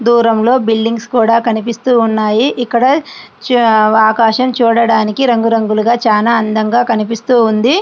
దూరంలో బిల్డింగ్స్ కూడా కనిపిస్తూ ఉన్నాయి. ఇక్కడ ఆకాశం చూడడానికి రంగురంగులుగా చాలా అందంగా కనిపిస్తూ ఉంది.